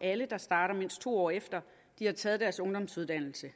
alle der starter mindst to år efter de har taget deres ungdomsuddannelse